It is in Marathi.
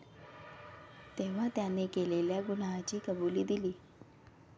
तेव्हा त्याने केलेल्या गुन्ह्याची कबुली दिली.